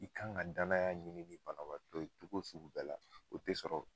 I kan ga danaya ɲini ni banabatɔ ye togo sugu bɛɛ la o te sɔrɔ